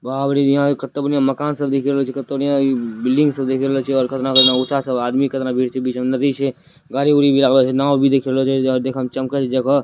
बाप रे ये पर कितने बढ़िया मकान सब दिख रहा है छे पतंग बढ़िया बिल्डिंग सब दिक रहल छे और कितना अच्छा अच्छा सब आदमी सब कितना बीच में नदी छे गाड़ी उदी अबल नाव भी दिख रहा है देख में चमकल जग--